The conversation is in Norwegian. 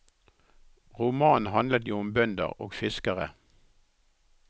Romanen handlet jo om bønder og fiskere.